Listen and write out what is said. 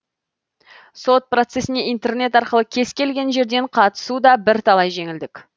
сот процесіне интернет арқылы кез келген жерден қатысу да бірталай жеңілдік